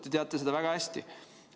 Te teate seda väga hästi.